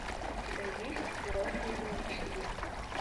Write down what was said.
у тебя есть взрослые новички